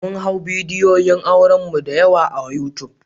Mun hau bidiyoyin auren mu da yawa a yutub.